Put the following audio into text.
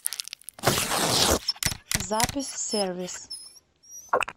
запись в сервис